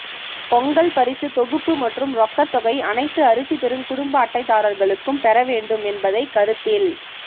பொங்கல் பரிசு தொகுப்பு மற்றும் ரொக்கத் தொகை அனைத்து அரிசி பெறும் குடும்ப அட்டைதாரா்களுக்கும் பெற வேண்டும் என்பதை கருத்தில்